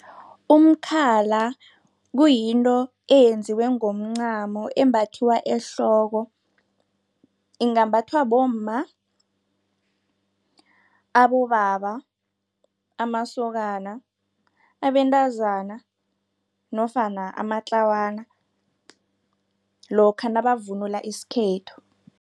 Umkhala kuyinto eyenziwe ngomncamo embathiwa ehloko. Ingambathwa bomma, abobaba, amasokana, abentazana nofana amatlawana lokha nabavunula isikhethu.